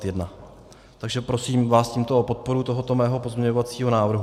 Takže prosím vás tímto o podporu tohoto mého pozměňovacího návrhu.